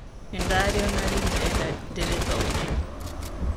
Nĩnda rĩona rĩu ndĩrenda ndĩrĩthome.